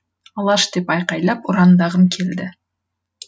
алаш деп айқайлап ұрандағым келді